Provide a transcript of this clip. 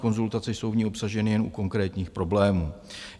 Konzultace jsou v ní obsaženy jen u konkrétních problémů.